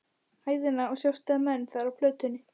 hæðina og sjást menn þar á plötunni.